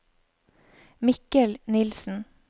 Mikkel Nilsen